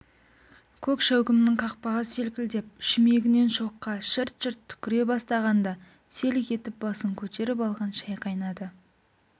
көк шәугімнің қақпағы селкілдеп шүмегінен шоққа шырт-шырт түкіре бастағанда селк етіп басын көтеріп алған шай қайнады